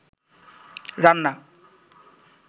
রান্না